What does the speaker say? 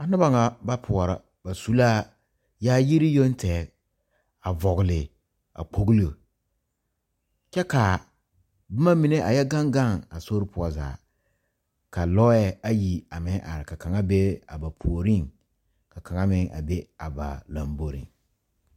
A noba naŋ ba poura. Ba su la yaayire yoŋ tɛr. A vogle a kpoglo. Kyɛ ka boma mene a yɔ gaŋ gaŋ a sori poʊ zaa. Ka lɔe ayi a meŋ are. Ka kanga be a ba pooreŋ. Ka kanga meŋ a be a ba lambɔreŋ.